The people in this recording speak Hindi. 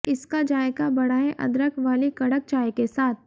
इसका जायका बढ़ाएं अदरक वाली कड़क चाय के साथ